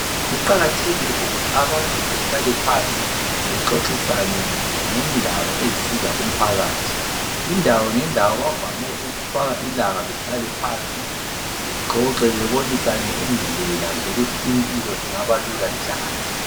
Kuqakathekile ukuthi abantu behlale phansi bexoxisane ngendaba ezisiza umphakathi. Indawo ngendawo bavame ukufaka ilanga behlale phansi bexoxe bebonisane indlela zokuthi impilo ingabalula njani.